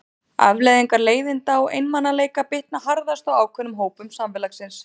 Afleiðingar leiðinda og einmanaleika bitna harðast á ákveðnum hópum samfélagsins.